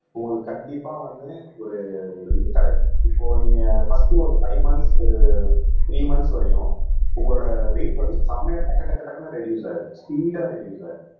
உங்களுக்கு கண்டிப்பா வந்து ஒரு ஒரு இது கிடைக்கும் இப்போ நீங்க பர்ஸ்ட் ஒரு பைவ் மந்த்ஸ் ஒரு த்ரீ மந்த்ஸ் வரையும் உங்களோட வெயிட் வந்து செமையா டக்கு டக்கு டக்குன்னு ரெடுயூஸ் ஆயிடும் ஸ்பீடா ரெடுயூஸ் ஆயிடும்